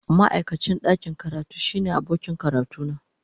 Ma'aikacin ɗakin karatu shine abokin karatuna.